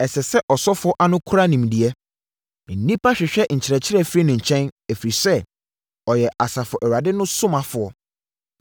“Ɛsɛ sɛ ɔsɔfoɔ ano kora nimdeɛ. Nnipa hwehwɛ nkyerɛkyerɛ firi ne nkyɛn, ɛfiri sɛ ɔyɛ Asafo Awurade no somafoɔ.